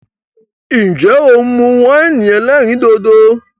Nje o mu win elerin dodo?